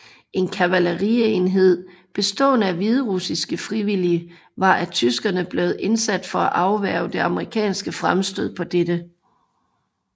En kavalerienhed bestående af hviderussiske frivillige var af tyskerne blevet indsat for at afværge det amerikanske fremstød på dette sted